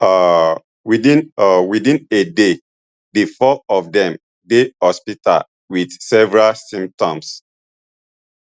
um within um within a day di four of dem dey hospital wit severe symptoms